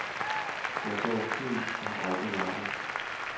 Jeg sover fint og har aldrig mareridt.